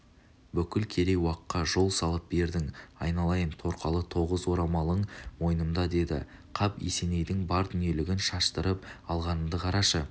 бүкіл керей-уаққа жол салып бердің айналайын торқалы тоғыз орамалын мойнымда деді қап есенейдің бар дүниелігін шаштырып алғанымды қарашы